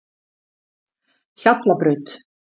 Hjallabraut